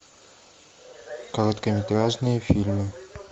короткометражные фильмы